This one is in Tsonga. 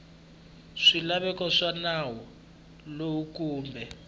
swilaveko swa nawu lowu kumbe